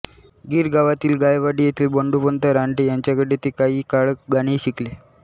गिरगावातील गायवाडी येथील बंडोपंत रानडे यांच्याकडे ते काही काळ गाणेही शिकले